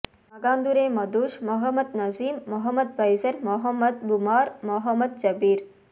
Makandure Madush Mohammed Naseem Mohammed Faizer Mohammed Mubar Mohammed Jabir